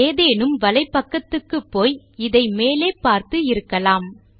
ஏதேனும் வலைப்பக்கத்துக்குப்போய் இதை மேலே பார்த்து இருக்கலாம்